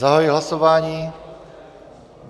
Zahajuji hlasování.